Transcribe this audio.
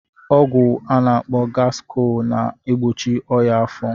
Ọgwụ a na-akpọ gaskọl na-egbochi ọnyá afọ.